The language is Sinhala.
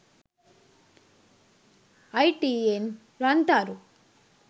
itn rantharu